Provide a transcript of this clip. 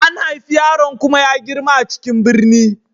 An haifi yaron kuma ya girma a cikin birni.